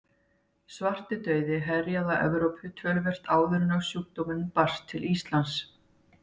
Svartidauði herjaði á Evrópu töluvert áður en sjúkdómurinn barst til Íslands.